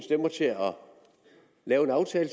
lave en aftale